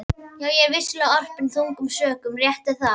Já, ég var vissulega orpinn þungum sökum, rétt er það.